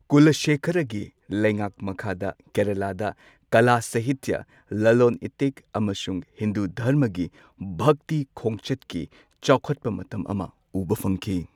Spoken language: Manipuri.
ꯀꯨꯂꯥꯁꯦꯈꯔꯥꯒꯤ ꯂꯩꯉꯥꯛ ꯃꯈꯥꯗ ꯀꯦꯔꯂꯥꯗ ꯀꯂꯥ, ꯁꯥꯍꯤꯠꯇ꯭ꯌ, ꯂꯂꯣꯟ ꯏꯇꯤꯛ ꯑꯃꯁꯨꯡ ꯍꯤꯟꯗꯨ ꯙꯔꯃꯒꯤ ꯚꯛꯇꯤ ꯈꯣꯡꯆꯠꯀꯤ ꯆꯥꯎꯈꯠꯄ ꯃꯇꯝ ꯑꯃ ꯎꯕ ꯐꯪꯈꯤ꯫